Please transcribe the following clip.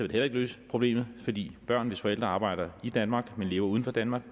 det heller ikke løse problemet fordi børn hvis forældre arbejder i danmark men lever uden for danmark